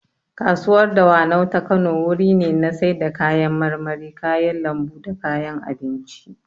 Kasuwar dawanau ta Kano wuri ne na sai da kayan marmari, kayan lambu da kayan abinci